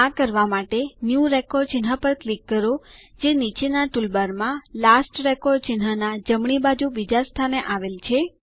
આ કરવા માટે ન્યૂ રેકોર્ડ ચિહ્ન પર ક્લિક કરો જે નીચેના ટૂલબારમાં લાસ્ટ રેકોર્ડ ચિહ્નના જમણી બાજુ બીજા સ્થાને છે